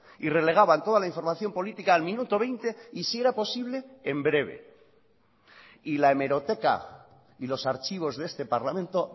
y relegaban toda la información política al minuto veinte y si era posible en breve y la hemeroteca y los archivos de este parlamento